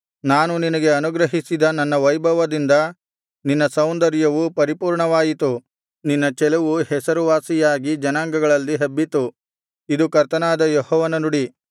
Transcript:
ನಾನು ನಿನಗೆ ಅನುಗ್ರಹಿಸಿದ ನನ್ನ ವೈಭವದಿಂದ ನಿನ್ನ ಸೌಂದರ್ಯವು ಪರಿಪೂರ್ಣವಾಯಿತು ನಿನ್ನ ಚೆಲುವು ಹೆಸರುವಾಸಿಯಾಗಿ ಜನಾಂಗಗಳಲ್ಲಿ ಹಬ್ಬಿತು ಇದು ಕರ್ತನಾದ ಯೆಹೋವನ ನುಡಿ